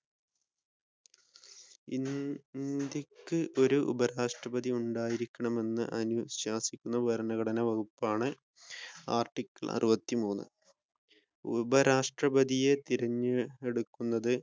E ഇന്ത്യക്ക് ഒരു ഉപരാഷ്ട്രപതിയുണ്ടായിരിക്കണമെന് അനുശാസിക്കുന്ന ഭരണഘടനാ വകുപ്പാണ് ആർട്ടിക്കിൾ അറുപത്തിമൂന്ന് ഉപരാഷ്ട്രപതിയെ തിരഞ്ഞെടുക്കുന്നത്